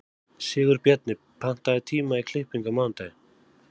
Sigurbjarni, pantaðu tíma í klippingu á mánudaginn.